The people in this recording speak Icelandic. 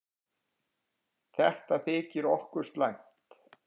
Þetta þykir okkur slæmt.